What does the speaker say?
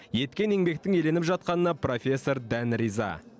еткен еңбектің еленіп жатқанына профессор дән риза